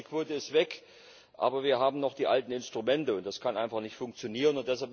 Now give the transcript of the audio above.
Das heißt Die Quote ist weg, aber wir haben noch die alten Instrumente, und das kann einfach nicht funktionieren.